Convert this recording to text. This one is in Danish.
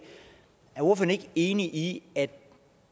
enig i at